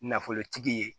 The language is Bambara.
Nafolotigi ye